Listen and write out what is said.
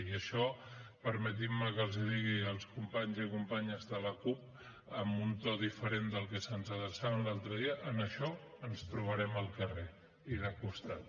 i això permetin me que els digui als companys i companyes de la cup amb un to diferent del que se’ns adreçaven l’altre dia en això ens trobarem al carrer i de costat